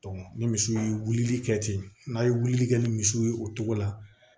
ni misiw ye wulili kɛ ten n'a ye wulili kɛ ni misiw ye o togo la